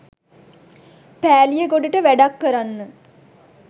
පෑලියගොඩට වැඩක් කරන්න.